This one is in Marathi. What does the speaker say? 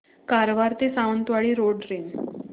कारवार ते सावंतवाडी रोड ट्रेन